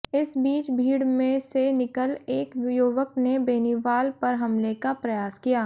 इस बीच भीड़ में से निकल एक युवक ने बेनीवाल पर हमले का प्रयास किया